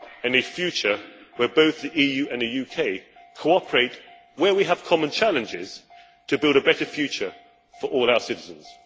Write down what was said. A future where both the EU and the UK cooperate where we have common challenges to build a better future for all our citizens.